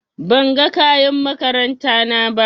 Ban ga kayan makaranta na ba.